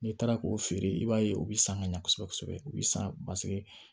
N'i taara k'o feere i b'a ye u bɛ san ka ɲa kosɛbɛ kosɛbɛ u bɛ san paseke